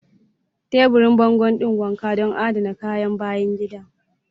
Taburin bango ɗin wanka don adana kayan bayan gida.